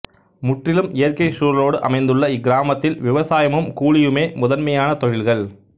முற்றிலும் இயற்கை சூழலோடு அமைந்துள்ள இக்கிராமத்தில் விவசாயமும் கூலியுமே முதன்மையான தொழில்கள்